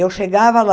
Eu chegava lá,